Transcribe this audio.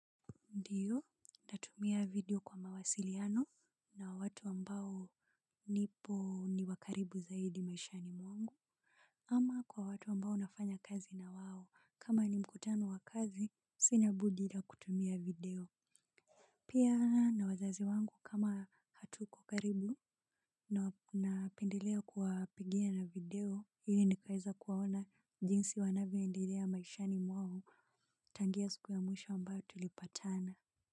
Ndiyo, natumia video kwa mawasiliano na watu ambao nipo ni wakaribu zaidi maishani mwangu. Ama kwa watu ambao nafanya kazi na wao, kama ni mkutano wa kazi, sina budi ila kutumia video. Pia na wazazi wangu kama hatuko karibu na napendelea kuwa pigia na video ili nikaweze kuwaona jinsi wanavyoendelea maishani mwao tangu hiyo siku ya mwisho ambayo tulipatana.